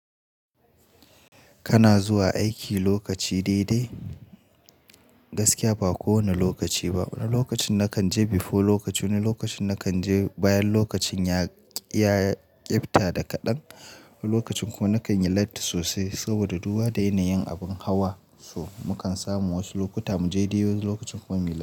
Kana zuwa aiki lokaci dai dai? Gaskiya ba kowane lokaci ba. Wani lokacin nakan je before lokaci, wani lokacin nakan je bayan lokacin ya, ya yi kifta da kaɗan. Wani lokacin kuma nakan yi late sosai saboda duba da yana yin abin hawa. So mu kan samu wasu lokuta mu je dai dai wasu lokutan kuma mu yi late.